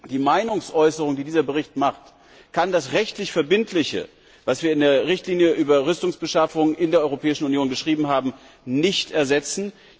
Die Meinungsäußerung, die dieser Bericht macht, kann das rechtlich Verbindliche, das wir in der Richtlinie über Rüstungsbeschaffung in der Europäischen Union geschrieben haben, nicht ersetzen.